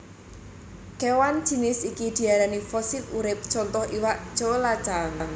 Kewan jinis iki diarani fosil urip contoh iwak coelacanth